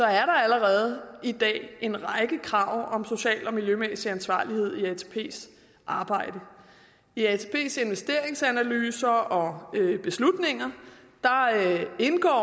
er der allerede i dag en række krav om social og miljømæssig ansvarlighed i atps arbejde i atps investeringsanalyser og beslutninger indgår